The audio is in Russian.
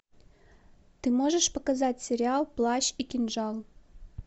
ты можешь показать сериал плащ и кинжал